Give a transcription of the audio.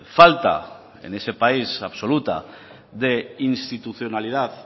falta en ese país absoluta de institucionalidad